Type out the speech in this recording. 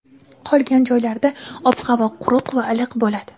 Qolgan joylarda ob-havo quruq va iliq bo‘ladi.